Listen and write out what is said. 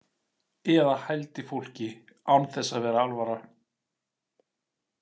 Eða hældi fólki án þess að vera alvara.